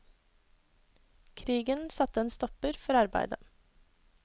Krigen satte en stopper for arbeidet.